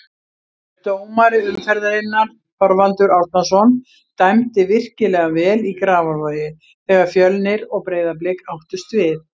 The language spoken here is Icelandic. Dómari umferðarinnar: Þorvaldur Árnason Dæmdi virkilega vel í Grafarvogi þegar Fjölnir og Breiðablik áttust við.